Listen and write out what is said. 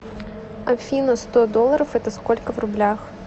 афина сто долларов это сколько в рублях